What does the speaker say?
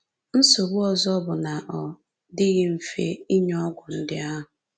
Nsogbu ọzọ bụ na ọ dịghị mfe inye ọgwụ ndị ahụ